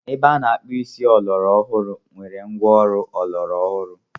Ebe a na-akpụ isi ọlọrọ ọhụrụ nwere ngwa ọrụ ọlọrọ ọhụrụ.